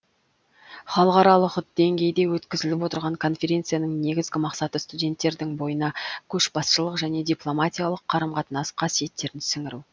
халықаралық деңгейде өткізіліп отырған конференцияның негізгі мақсаты студенттердің бойына көшбасшылық және дипломатиялық қарым қатынас қасиеттерін сіңіру